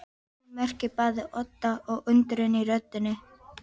Hún merkir bæði ótta og undrun í röddinni.